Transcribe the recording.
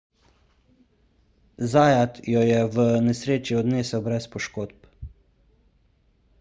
zayat jo je v nesreči odnesel brez poškodb